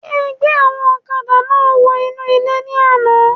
Ṣe ẹ gbẹ́ àwọn ọ̀kadà náà wọ inú ilé ní àna?